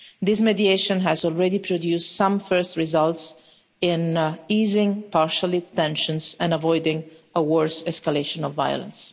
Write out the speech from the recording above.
This mediation has already produced some first results in easing tensions partially and avoiding a worse escalation of violence.